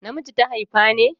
Na miji ta haifa ne?